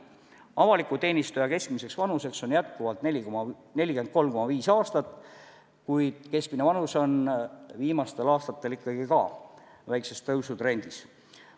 Avaliku teenistuja keskmiseks vanuseks on jätkuvalt 43,5 aastat, kuid keskmine vanus on viimastel aastatel ikkagi ka väikses tõusutrendis.